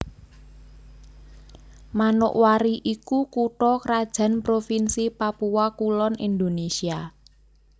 Manokwari iku kutha krajan Provinsi Papua Kulon Indonésia